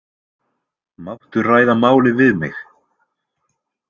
Máttu ræða málið við mig?